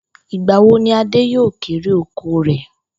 Ìgba wo ni Adé yóò kérè oko rè̩?